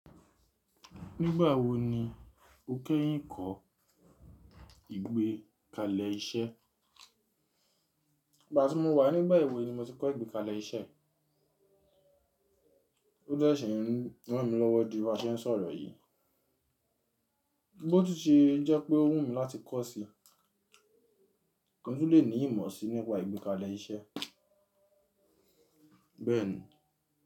Nígbà wo ni o kẹ́yìn kọ́ ìgbékalẹ̀ iṣẹ́? Ìgbà tí mo wà nígba ẹ̀wé ni mo ti kọ́ ìgbékalẹ̀ iṣẹ́. Ó de shi n rán mi lọ́wọ́ di bi a ṣe ń sọ̀rọ̀ yìí. Bó ti ṣe jẹ́ pé ó wù mí láti kọ́ sí i, kí n tun lè ní ìmọ̀ sí i nípa ìgbékalẹ̀ iṣẹ́. Bẹ́ẹ̀ni.